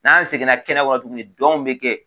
N'an seginna kɛnɛ Kɔnɔ tuguni dɔnw bi kɛ.